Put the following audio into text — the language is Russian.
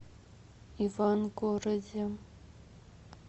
ивангороде